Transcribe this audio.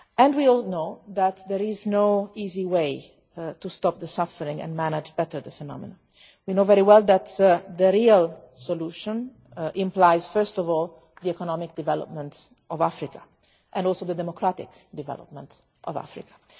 We all know that there is no easy way to stop the suffering and manage the phenomenon better. We know very well that the real solution implies, first of all, the economic development of Africa and also the democratic development of Africa.